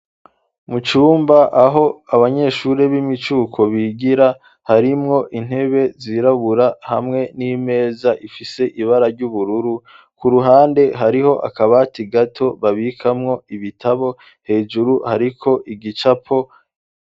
Mucumba aho abanyeshuri b'imicuko bigira harimwo intebe zirabura hamwe n'imeza ifise ibara ry'ubururu ku ruhande hariho akabati gato babikamwo ibitabo hejuru hariko igicapo.